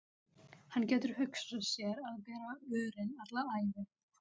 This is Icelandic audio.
Hann getur hugsað sér að bera örin alla ævi.